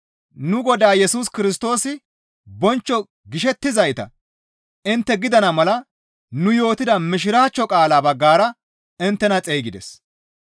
Nu Godaa Yesus Kirstoosi bonchcho gishettizayta intte gidana mala nu yootida mishiraachcho qaalaa baggara inttena xeygides.